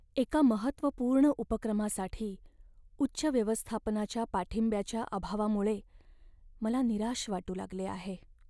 एका महत्त्वपूर्ण उपक्रमासाठी उच्च व्यवस्थापनाच्या पाठिंब्याच्या अभावामुळे मला निराश वाटू लागले आहे.